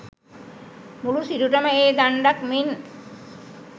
මුළු සිරුරම ඒ දණ්ඩක් මෙන්